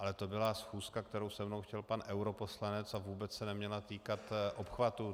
Ale to byla schůzka, kterou se mnou chtěl pan europoslanec, a vůbec se neměla týkat obchvatů.